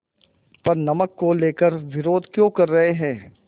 पर नमक को लेकर विरोध क्यों कर रहे हैं